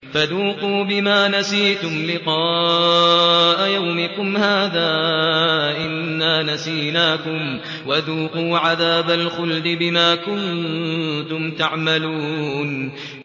فَذُوقُوا بِمَا نَسِيتُمْ لِقَاءَ يَوْمِكُمْ هَٰذَا إِنَّا نَسِينَاكُمْ ۖ وَذُوقُوا عَذَابَ الْخُلْدِ بِمَا كُنتُمْ تَعْمَلُونَ